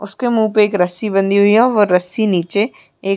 उसके मुँह पे एक रस्सी बंधी हुई है व रस्सी नीचे एक --